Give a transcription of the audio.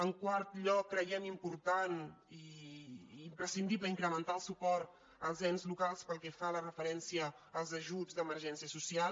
en quart lloc creiem important i imprescindible in·crementar el suport als ens locals pel que fa referència als ajuts d’emergència social